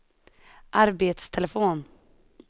arbetstelefon